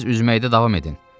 Siz üzməkdə davam edin.